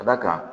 Ka d'a kan